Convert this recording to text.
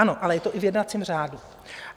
Ano, ale je to i v jednacím řádu.